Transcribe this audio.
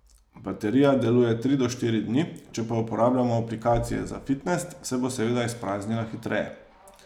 Baterija deluje tri do štiri dni, če pa uporabljamo aplikacije za fitnes, se bo seveda izpraznila hitreje.